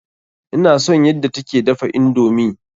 Ina son yadda ta ke dafa indomi.